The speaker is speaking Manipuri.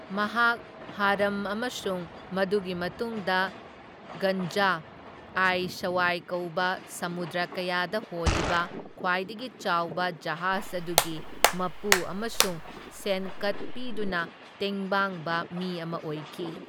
ꯃꯍꯥꯛ ꯔꯍꯝ ꯑꯃꯁꯨꯡ ꯃꯗꯨꯒꯤ ꯃꯇꯨꯡꯗ ꯒꯟꯖ ꯑꯥꯏ ꯁꯋꯥꯏ ꯀꯧꯕ ꯁꯃꯨꯗ꯭ꯔ ꯀꯌꯥꯗ ꯍꯣꯜꯂꯤꯕ ꯈ꯭ꯋꯥꯏꯗꯒꯤ ꯆꯥꯎꯕ ꯖꯍꯥꯖ ꯑꯗꯨꯒꯤ ꯃꯄꯨ ꯑꯃꯁꯨꯡ ꯁꯦꯟꯀꯠ ꯄꯤꯗꯨꯅ ꯇꯦꯡꯕꯥꯡꯕ ꯃꯤ ꯑꯃ ꯑꯣꯏꯈꯤ꯫